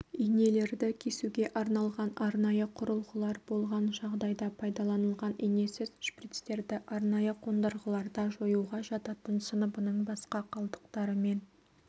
инелерді кесуге арналған арнайы құрылғылар болған жағдайда пайдаланылған инесіз шприцтерді арнайы қондырғыларда жоюға жататын сыныбының басқа қалдықтарымен